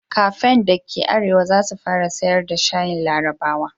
Kafen da ke arewa za su fara sayar da shayin larabawa.